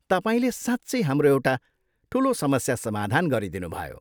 तपाईँले साँच्चै हाम्रो एउटा ठुलो समस्या समाधान गरिदिनुभयो।